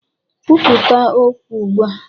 Kwupụta ọkwa ugbu a!